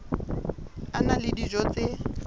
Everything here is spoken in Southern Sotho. a na le dijo tse